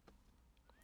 DR1